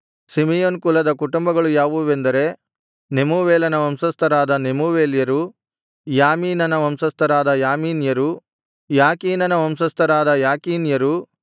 Simeon ಕುಲದ ಕುಟುಂಬಗಳು ಯಾವುವೆಂದರೆ ನೆಮೂವೇಲನ ವಂಶಸ್ಥರಾದ ನೆಮೂವೇಲ್ಯರು ಯಾಮೀನನ ವಂಶಸ್ಥರಾದ ಯಾಮೀನ್ಯರು ಯಾಕೀನನ ವಂಶಸ್ಥರಾದ ಯಾಕೀನ್ಯರು